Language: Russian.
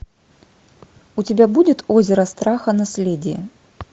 у тебя будет озеро страха наследие